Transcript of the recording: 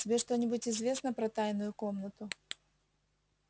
тебе что-нибудь известно про тайную комнату